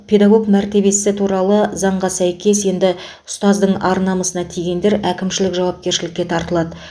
педагог мәртебесі туралы заңға сәйкес енді ұстаздың ар намысына тигендер әкімшілік жауапкершілікке тартылады